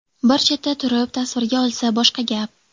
Bir chetda turib tasvirga olsa boshqa gap.